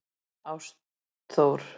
Ástþór